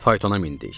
Faytona mindik.